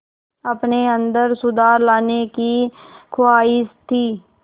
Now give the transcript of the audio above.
अपने अंदर सुधार लाने की ख़्वाहिश थी